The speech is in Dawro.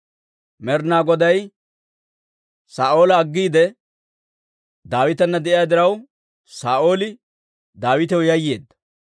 Med'inaa Goday Saa'oola aggiide Daawitana de'iyaa diraw, Saa'ooli Daawitaw yayyeedda.